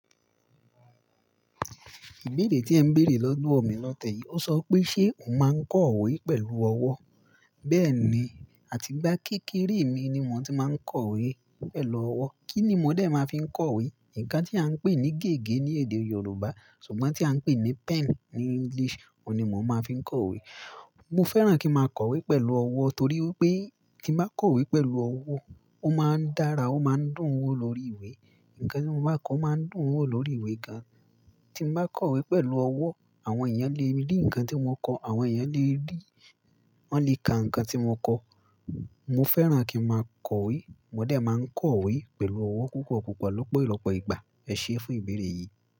Ìbéèrè tí ẹ ń béèrè lọ̀wọ̀ mi lọ́tẹ̀ yìí, ó sọ pé ṣe mo máa ń kọ̀wé pẹ̀lú ọwọ́? Bẹ́ẹ̀ni àti ìgbà kékeré mi ni mo ti máa ń kọ̀wé pẹ̀lú ọwọ́. Kí ni mo dé máa fi ń kọ̀wé? Ǹkan tí a ń pè ní gègé ní èdè Yorùbá, ṣùgbọ́n tí a ń pè ní pen ní English, òun ni mò máa fi ń kọ̀wé. Mo fẹ́ràn kí máa kọ̀wé pẹ̀lú ọwọ́ torí pé kí bá kọ̀wé pẹ̀lú ọwọ́, ó máa ń dára, ó máa ń dùn ún wò lórí ìwé. Ǹkan tí mo bá kọ, ó máa ń dùn ún wò lórí ìwé gan. Tí mo bá kọ̀wé pẹ̀lú ọwọ́, àwọn èèyàn lè rí ǹkan tí mo kọ, àwọn èèyàn lè rí, wọ́n lè ka ǹkan tí mo kọ. Mo fẹ́ràn kí máa kọ̀wé, mo dẹ́ máa ń kọ̀wé pẹ̀lú ọwọ́ púpọ̀, pupa, lọ́pọ̀ ìlọ́pọ̀ ìgbà. Ẹ ṣé fún ìbéèrè yìí.